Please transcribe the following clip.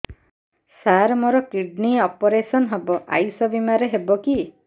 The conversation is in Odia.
ସାର ମୋର କିଡ଼ନୀ ଅପେରସନ ହେବ ଆୟୁଷ ବିମାରେ ହେବ କି